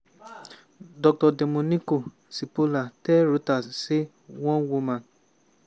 dr domenico cipolla tell reuters say one woman